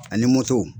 Ani moto